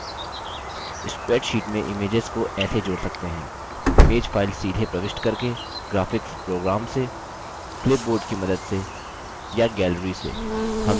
spreadsheet में images को ऐसे जोड़ सकते हैं image file सीधे प्रविष्ट करके graphics program से clipboard की मदद से या gallery से